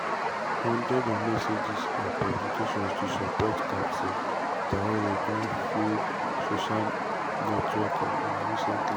hundreds of messages and publications to support captain traore don full social networks in recently.